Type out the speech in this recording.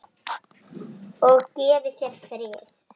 Og gefi þér frið.